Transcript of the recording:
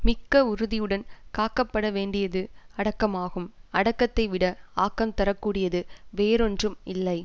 மிக்க உறுதியுடன் காக்கப்படவேண்டியது அடக்கமாகும் அடக்கத்தைவிட ஆக்கம் தர கூடியது வேறொன்றும் இல்லை